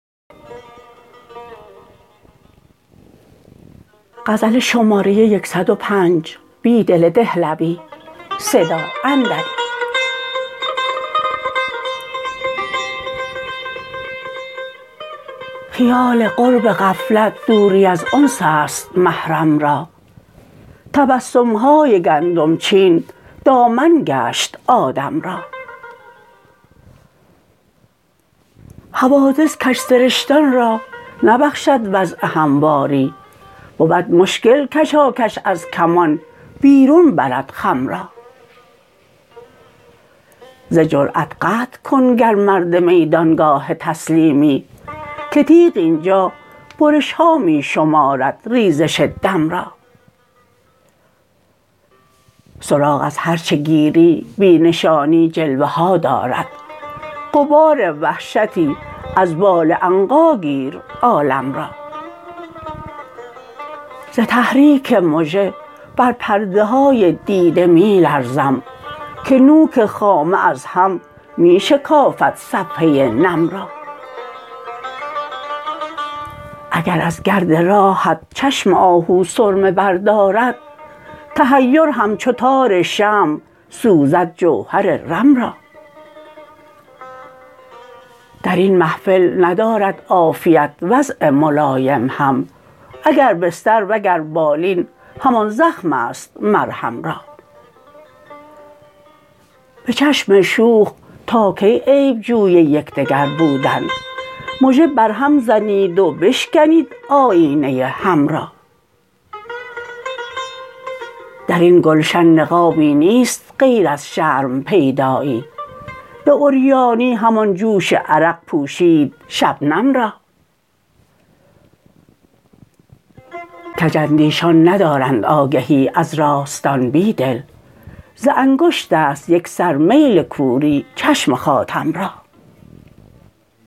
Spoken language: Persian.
خیال قرب غفلت دوری ازانس است محرم را تبسم های گندم چین دامن گشث آدم را حوادث کج سرشتان را نبخشد وضع همواری بود مشکل کشاکش ازکمان بیرون برد خم را ز جرأت قطع کن گر مرد میدانگاه تسلیمی که تیغ اینجا برشها می شمارد ریزش دم را سراغ از هرچه گیری بی نشانی جلوه ها دارد غبار وحشتی از بال عنقاگیر عالم را ز تحریک مژه بر پرده های دیده می لرزم که نوک خامه ازهم می شکافد صفحه نم را اگر ازگرد راهت چشم آهو سرمه بردارد تحیر همچوتار شمع سوزد جوهر رم را درین محفل ندارد عافیت وضع ملایم هم اگربستروگربالین همان زخم است مرهم را به چشم شوخ تاکی عیب جوی یکدگربودن مژه برهم زنید وبشکنید آیینه هم را درین گلشن نقابی نیست غیر از شرم پیدایی به عریانی همان جوش عرق پوشید شبنم را کج اندیشان ندارند آگهی از راستان بیدل ز انگشت است یک سر میل کوری چشم خاتم را